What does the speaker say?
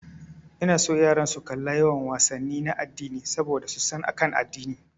Ina son yaran su kalla yawan wasanni na addini saboda su san akan addini.